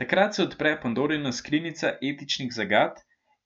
Takrat se odpre pandorina skrinjica etičnih zagat